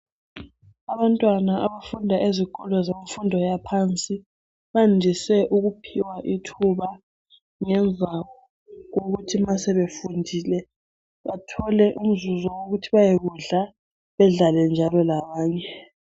Abantwana abafunda ezikolo zemfundo yaphansi bandise ukuphiwa ithuba ngemva kokuthi nxa sebefundile bathole umzuzu wokuthi bayekudla bedlale njalo labanye.